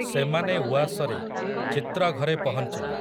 ସେମାନେ ଉଆସରେ, ଚିତ୍ରଘରେ ପହଞ୍ଚିଲେ ।